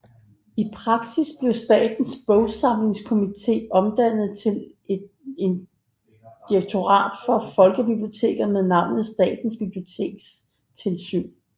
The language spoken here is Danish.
I praksis blev Statens Bogsamlingskomité omdannet til et direktorat for folkebiblioteker med navnet Statens Bibliotekstilsyn